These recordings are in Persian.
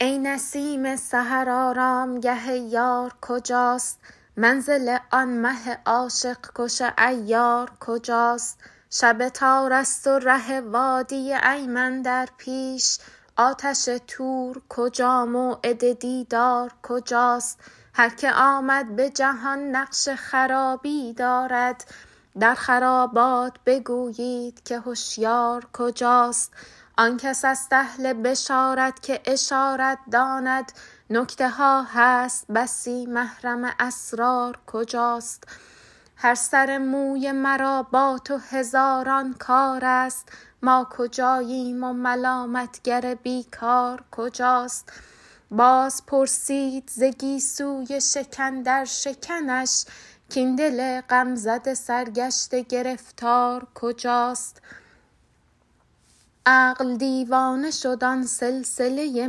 ای نسیم سحر آرامگه یار کجاست منزل آن مه عاشق کش عیار کجاست شب تار است و ره وادی ایمن در پیش آتش طور کجا موعد دیدار کجاست هر که آمد به جهان نقش خرابی دارد در خرابات بگویید که هشیار کجاست آن کس است اهل بشارت که اشارت داند نکته ها هست بسی محرم اسرار کجاست هر سر موی مرا با تو هزاران کار است ما کجاییم و ملامت گر بی کار کجاست باز پرسید ز گیسوی شکن در شکنش کاین دل غم زده سرگشته گرفتار کجاست عقل دیوانه شد آن سلسله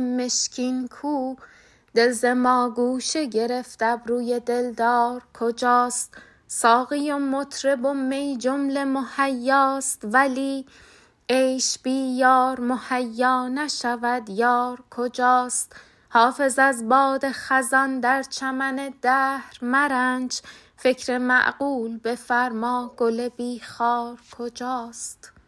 مشکین کو دل ز ما گوشه گرفت ابروی دلدار کجاست ساقی و مطرب و می جمله مهیاست ولی عیش بی یار مهیا نشود یار کجاست حافظ از باد خزان در چمن دهر مرنج فکر معقول بفرما گل بی خار کجاست